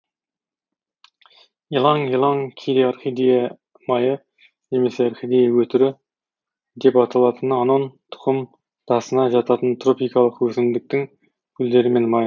иланг иланг кейде орхидея майы немесе орхидея өтірі деп аталатын анон тұқым дасына жататын тропикалық өсімдіктің гүлдері мен майы